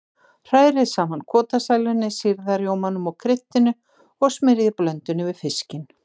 Hrærið saman kotasælunni, sýrða rjómanum og kryddinu og smyrjið blöndunni yfir fiskinn.